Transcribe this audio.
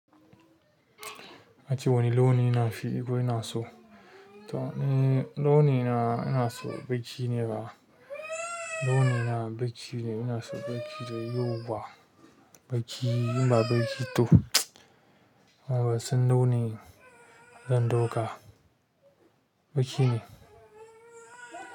Mace wani launi yana fi iko yana so? To ne, launi na yana so baƙi ne ba. Launi na baƙi ne, yana so baƙi da yawa ba. Baƙi, inba baƙi to. Haba sun nuna zan ɗauka. Baƙi ne.